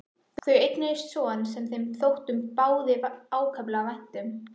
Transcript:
Þau eignuðust son sem þeim þótti báðum ákaflega vænt um.